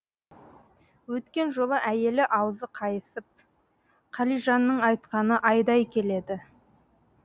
өткен жолы әйелі аузы қайысып қалижанның айтқаны айдай келеді